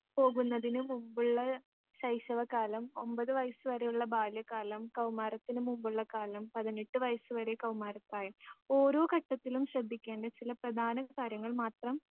പോകുന്നതിനു മുമ്പുള്ള ശൈശവകാലം ഒമ്പത് വയസ്സുവരെയുള്ള ബാല്യകാലം കൗമാരത്തിനു മുമ്പുള്ള കാലം പതിനെട്ട് വയസ്സ് വരെ കൗമാരപ്രായം ഓരോ ഘട്ടത്തിലും ശ്രദ്ധിക്കേണ്ട ചില പ്രധാന കാര്യങ്ങൾ മാത്രം